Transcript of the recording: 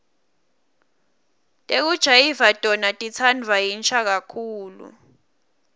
tekujayiva tona titsandvwa yinsha kakhulu